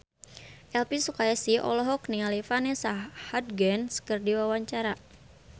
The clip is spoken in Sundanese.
Elvy Sukaesih olohok ningali Vanessa Hudgens keur diwawancara